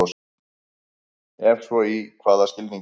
Ef svo í hvaða skilningi?